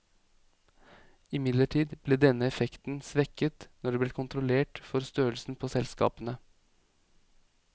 Imidlertid ble denne effekten svekket når det ble kontrollert for størrelsen på selskapene.